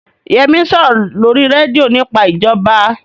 Yẹmí ń sọ̀rọ̀ lórí rédíò nípa ìjọba